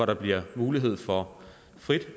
der bliver mulighed for frit